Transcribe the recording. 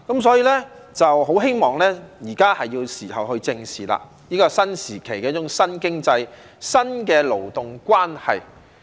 所以，現在是時候去正視這個新時期的一種新經濟、新的勞動關係。